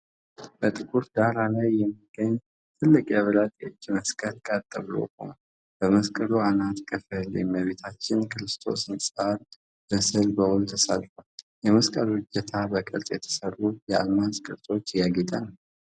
በጥቁር ዳራ ላይ የሚገኝ ትልቅ የብረት የእጅ መስቀል ቀጥ ብሎ ቆሟል። በመስቀሉ አናት ክፍል የእመቤታችንና የክርስቶስ ህጻን ምስል በውል ተሳልፏል። የመስቀሉ እጀታ በቅርጽ በተሠሩ የአልማዝ ቅርጾች ያጌጠ ነው።